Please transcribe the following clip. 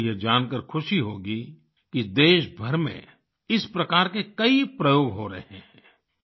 आपको यह जानकार खुशी होगी कि देशभर में इस प्रकार के कई प्रयोग हो रहे हैं